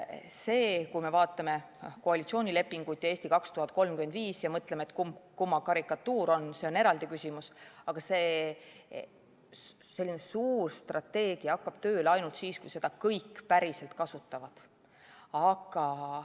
See, kui me vaatame koalitsioonilepingut ja "Eesti 2035" ja mõtleme, et kumb kumma karikatuur on, on eraldi küsimus, aga selline suur strateegia hakkab tööle ainult siis, kui seda kõik päriselt kasutavad.